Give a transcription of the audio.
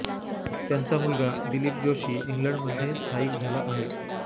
त्यांचा मुलगा दिलीप जोशी इंग्लंडमध्ये स्थायिक झाला आहे